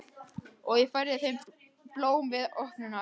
Og ég færði þeim blóm við opnunina.